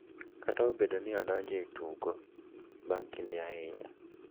Kata obedo ni ne odonjo e tugo bang’ kinde ahinya,